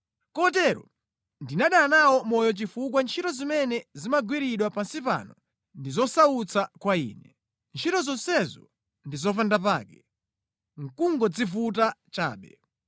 Kotero ndinadana nawo moyo chifukwa ntchito zimene zimagwiridwa pansi pano ndi zosautsa kwa ine. Ntchito zonsezo ndi zopandapake, nʼkungodzivuta chabe.